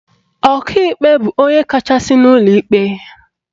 Ọkaikpe bụ onye kachasị n'ụlọ ikpe